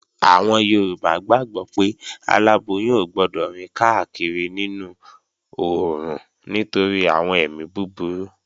Àwọn Yorùbá gbàgbó pé aláboyún ò gbọdọ̀ rìn káàkiri nínú oòrùn nítorí àwọn èmi búburú